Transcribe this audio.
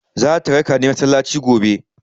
Zata raka ni masallaci gobe.